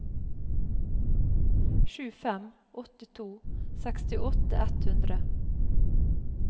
sju fem åtte to sekstiåtte ett hundre